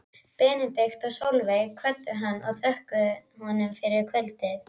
Benedikt og Sólveig kvöddu hann og þökkuðu honum fyrir kvöldið.